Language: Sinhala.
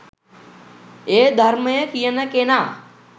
ඒ ධර්මය කියන කෙනා